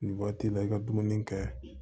Nin waati la i ka dumuni kɛ